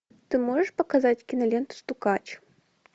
ты можешь показать киноленту стукач